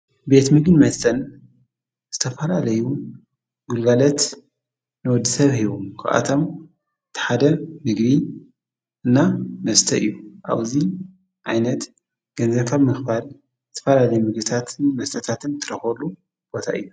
ቤት ምግብን መስተን ዝተፈላለዩን ግልጋሎት ነወዲ ሰብ ሂቡም ክኣቶም ተሓደ ድግሪ እና መስተይ እዩ ኣውዙይ ዓይነት ገንዘፈብ ምኽባል ዝተፈላለይ ምግሥታትን መስተታትን ትረኾበሉ ቦታ እዩ።